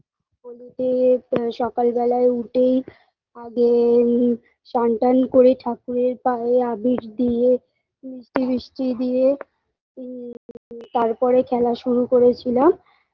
হোলিতে আ সকালবেলা উঠেই আগে ইম সান টান করে ঠাকুরের পায়ে আবির দিয়ে মিষ্টি ফিষ্টি দিয়ে মম্ তারপরে খেলা শুরু করেছিলাম